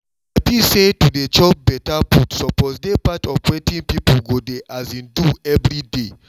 i feel say to dey chop better food suppose dey part of wetin people go dey um do every day